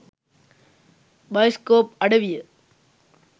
Bioscope අඩවිය.